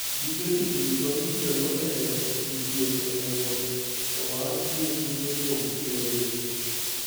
Gige tich duto mitiyogo e miyo ji thieth onego owang ' gi kute kuom wirogi.